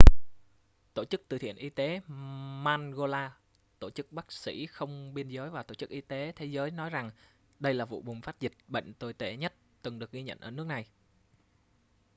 tổ chức từ thiện y tế mangola tổ chức bác sĩ không biên giới và tổ chức y tế thế giới nói rằng đây là vụ bùng phát dịch bệnh tồi tệ nhất từng được ghi nhận ở nước này